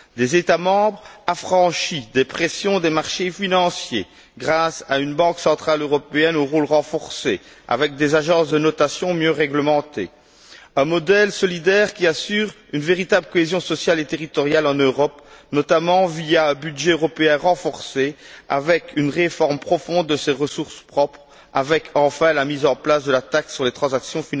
Il faudrait que les États membres soient affranchis des pressions des marchés financiers grâce à une Banque centrale européenne au rôle renforcé et qu'on dispose d'agences de notation mieux réglementées, un modèle solidaire qui assure une véritable cohésion sociale et territoriale en Europe, notamment via un budget européen renforcé, avec une réforme profonde de ses ressources propres, avec, enfin, la mise en place de la taxe sur les transactions